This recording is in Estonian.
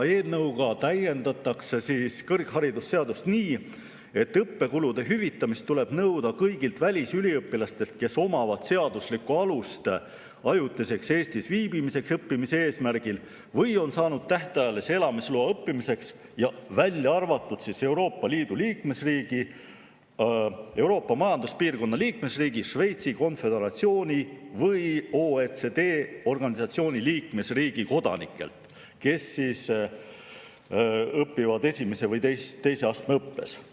Eelnõuga täiendatakse kõrgharidusseadust nii, et õppekulude hüvitamist tuleb nõuda kõigilt välisüliõpilastelt, kes omavad seaduslikku alust ajutiseks Eestis viibimiseks õppimise eesmärgil või on saanud tähtajalise elamisloa õppimiseks, välja arvatud Euroopa Liidu liikmesriigi, Euroopa Majanduspiirkonna liikmesriigi, Šveitsi Konföderatsiooni või OECD organisatsiooni liikmesriigi kodanikelt, kes õpivad esimese või teise astme õppes.